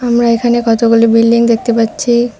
আমরা এখানে কতগুলি বিল্ডিং দেখতে পাচ্ছি।